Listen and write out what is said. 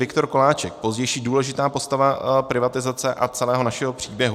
Viktor Koláček, pozdější důležitá osoba privatizace a celého našeho příběhu.